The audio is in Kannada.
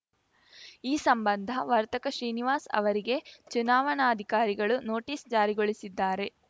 ಈ ಸಂಬಂಧ ವರ್ತಕ ಶ್ರೀನಿವಾಸ್‌ ಅವರಿಗೆ ಚುನಾವಣಾಧಿಕಾರಿಗಳು ನೋಟಿಸ್‌ ಜಾರಿಗೊಳಿಸಿದ್ದಾರೆ